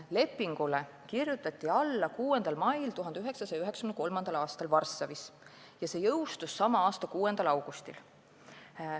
Lepingule kirjutati alla 6. mail 1993. aastal Varssavis ja see jõustus sama aasta 6. augustil.